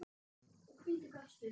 og hvítur gafst upp.